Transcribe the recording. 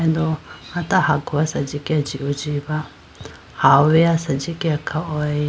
Do hata ha gowa asenji ke jihoji ba ha howeya asenji ke khahoyi.